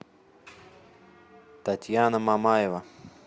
татьяна мамаева